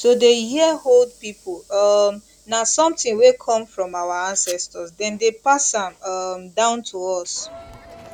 to dey hear old people um na something wey come from our ancestors dem dey pass am um down to us